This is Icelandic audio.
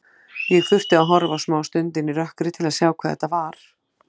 Ég þurfti að horfa smástund inn í rökkrið til að sjá hvað þetta var.